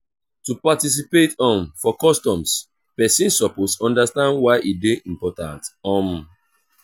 to participate um for customs persin suppose understand why e de important um